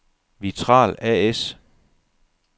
Vitral A/S